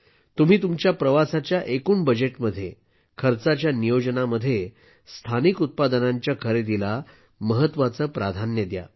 तुम्ही तुमच्या प्रवासाच्या एकूण बजेटमध्ये खर्चाच्या नियोजनामध्ये स्थानिक उत्पादनांच्या खरेदीला महत्त्वाचं प्राधान्य द्या